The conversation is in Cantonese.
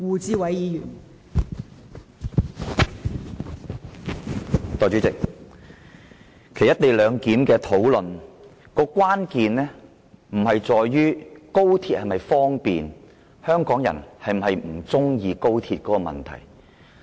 代理主席，其實"一地兩檢"的爭議關鍵並非在於廣深港高鐵是否方便，或者香港人是否不喜歡高鐵的問題。